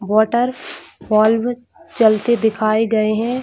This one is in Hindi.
वाटरफॉल चलते दिखाए गए हैं।